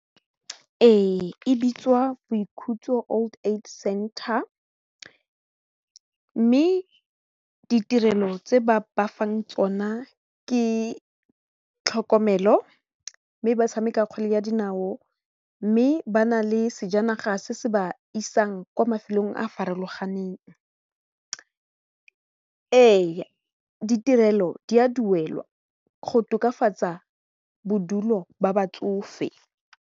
We, e bitswa boikhutso old age center mme ditirelo tse ba ba fang tsona ke tlhokomelo mme ba tshameka kgwele ya dinao mme ba na le sejanaga se se ba isang kwa mafelong a farologaneng, ee, ditirelo di a duelwa go tokafatsa bodulo ba batsofe.